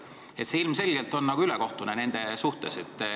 See on ilmselgelt ülekohtune.